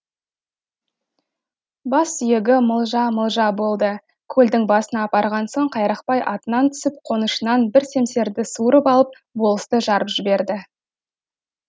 бас сүйегі мылжа мылжа болды көлдің басына апарған соң қайрақпай атынан түсіп қонышынан бір семсерді суырып алып болысты жарып жіберді